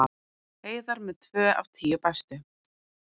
Heiðar með tvö af tíu bestu